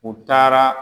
U taara